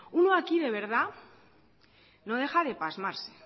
uno aquí de verdad no deja de pasmarse